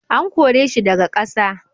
An kore shi daga ƙasa.